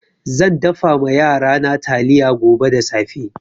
Zan dafa ma yarana taliya gobe da safe.